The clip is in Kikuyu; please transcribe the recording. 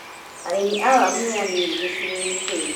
Arĩmi a waru nĩ a nini gĩcigo kĩu.